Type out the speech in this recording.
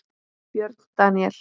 Björn Daníel?